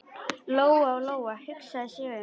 Lóa-Lóa hugsaði sig um.